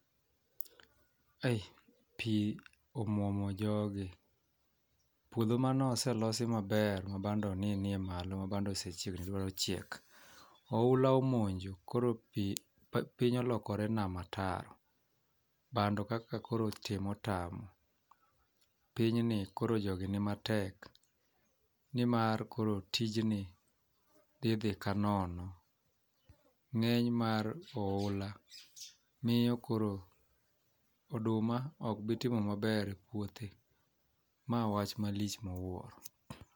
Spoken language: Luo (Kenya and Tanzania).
Kae pi omwomo jogi puodho manoselosi maber ma bando ne nie malo ma bando chiegni dwa chiek oula omonjo. Koro piny olokore nama taro bando kaka koro tim otamo. Pinyni koro jogi ni matek nimar koro tijni dhi dhi kanono.Ng'eny mar oula miyo koro oduma ok bii timo maber e puothe, ma wach malich miwuoro.